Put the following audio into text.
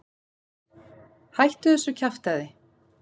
Hættu þessu kjaftæði.